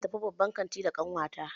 Zan tafi babban kantin da ƙanwata.